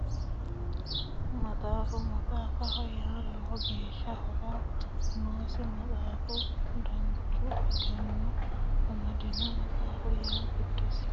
Maxaafa maxaafaho yaa lowo geeshshi horo noosi maxaafu duucha egeno amadino maxaafu yaa giddosi amadino egeno ilamatee ilama sa'ano egenooti